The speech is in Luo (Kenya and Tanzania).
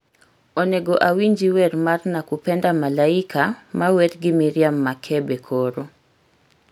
Onego awinji wer mar nakupenda malaika mawer gi miriam makebe koro